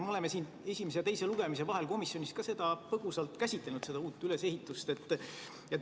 Me oleme siin esimese ja teise lugemise vahel komisjonis seda uut ülesehitust ka põgusalt käsitlenud.